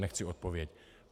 Nechci odpověď.